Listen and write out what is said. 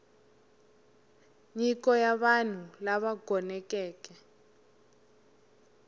nyiko ya vanhu lava gonekeke